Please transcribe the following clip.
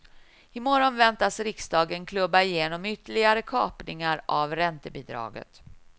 I morgon väntas riksdagen klubba igenom ytterligare kapningar av räntebidraget.